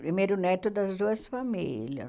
Primeiro neto das duas famílias.